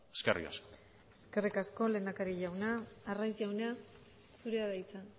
eskerrik asko eskerrik asko lehendakari jauna arraiz jauna zurea da hitza